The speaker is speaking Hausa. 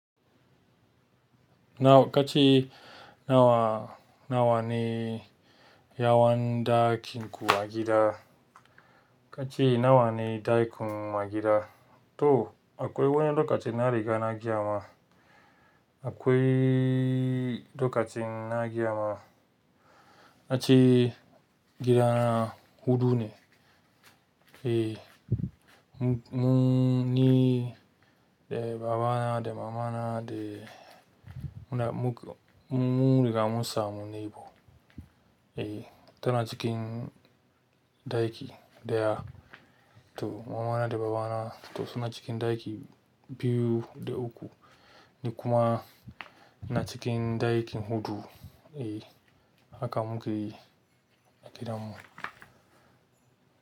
Nawa kace nawa, nawa ne yawan ɗakinku a gida? Kace nawa ne ɗakinku a gida? To akwai wanne lokacin na riga na gayama, akwai lokacin na gayama, na ce gida na huɗu ne. Eh, mun yi eh babana da mamana da muna muk, mun riga mun samu nebo. Eh, tana cikin ɗaki ɗaya. To, mamana da babana to suna cikin ɗaki biyu da uku, ni kuma ina cikin ɗakin huɗu. Eh, haka muke yi a gidanmu.